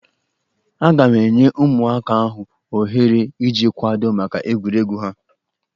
Aga m enye ụmụaka ahụ ohere iji kwadoo maka egwuregwu ha.